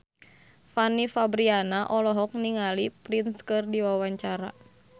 Fanny Fabriana olohok ningali Prince keur diwawancara